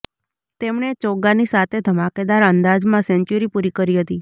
તેણે ચોગ્ગાની સાતે ધમાકેદાર અંદાજમાં સેન્ચુરી પૂરી કરી હતી